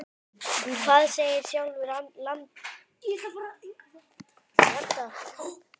En hvað segir sjálfur landinn?